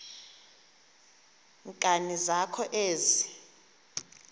nkani zakho ezi